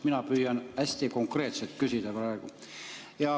Mina püüan hästi konkreetselt küsida.